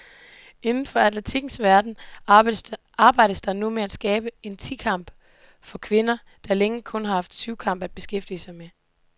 Inden for atletikkens verden arbejdes der nu med at skabe en ti kamp for kvinder, der længe kun har haft syvkamp at beskæftige med.